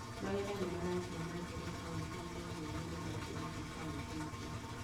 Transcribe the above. Magetha nĩmarathiĩ na mbere kauntĩ-inĩ imwe na nĩmarĩkĩtie kauntĩ ingĩ